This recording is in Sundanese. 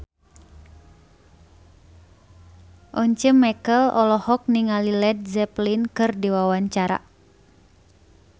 Once Mekel olohok ningali Led Zeppelin keur diwawancara